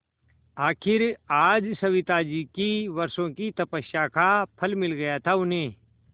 आखिर आज सविताजी की वर्षों की तपस्या का फल मिल गया था उन्हें